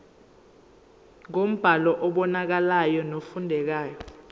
ngombhalo obonakalayo nofundekayo